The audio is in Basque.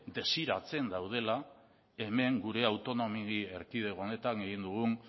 desiratzen daudela hemen gure autonomi erkidego honetan egin dugun